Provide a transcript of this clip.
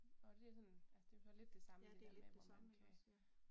Og det sådan altså det jo så lidt det samme med det der med hvor man kan